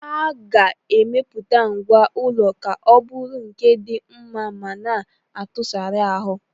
A ga-emepụta ngwá ụlọ ka ọ bụrụ nke di nma ma na atụsara ahụ.